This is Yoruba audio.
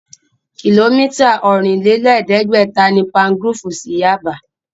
Kìlómítà ọ̀rìn-lé-lẹ̀ẹ́dẹ́gbẹ̀ta ni Palmgrove sí Yaba